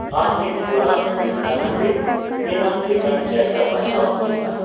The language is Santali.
ᱟᱨ ᱢᱤᱫ ᱦᱚᱲᱟᱜ ᱢᱮᱫ ᱫᱟᱱᱟᱝ ᱨᱮ ᱢᱮᱱᱟᱜ ᱞᱮᱠᱟᱱ ᱡᱟᱭᱜᱟ ᱵᱟᱪᱷᱟᱣ ᱵᱮᱥᱼᱟ ᱾